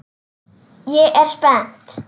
Ég er spennt.